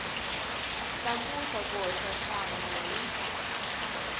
tlakusa ku hoxa xandla hi